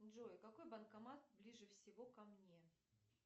джой какой банкомат ближе всего ко мне